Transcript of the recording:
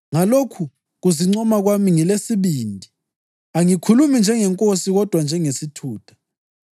Ngalokhu kuzincoma kwami ngesibindi, angikhulumi njengeNkosi kodwa njengesithutha.